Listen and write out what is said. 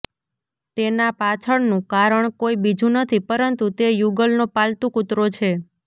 તેના પાછળનું કારણ કોઈ બીજું નથી પરંતુ તે યુગલનો પાલતુ કુતરો છે